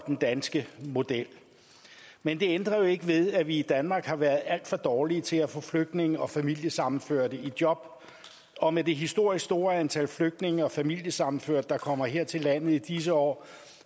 den danske model men det ændrer jo ikke ved at vi i danmark har været alt for dårlige til at få flygtninge og familiesammenførte i job og med det historisk store antal flygtninge og familiesammenførte der kommer her til landet i disse år